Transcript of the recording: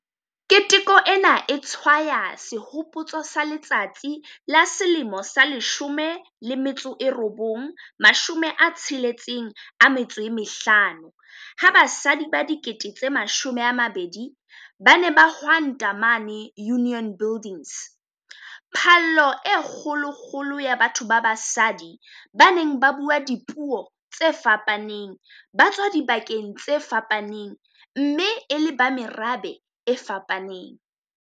Keteko ena e tshwaya sehopotso sa letsatsi la 1956 ha basadi ba 20 000 ba ne ba hwanta mane Union Buildings - phallo e kgolokgolo ya batho ba basadi ba neng ba bua dipuo tse fapaneng, ba tswa dibakeng tse fapaneng mme e le ba merabe e fapaneng.